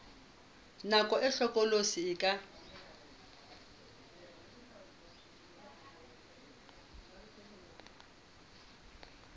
nako e hlokolosi e ka